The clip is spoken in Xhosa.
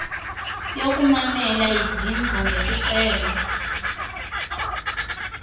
yokumamela izimvo ngesicelo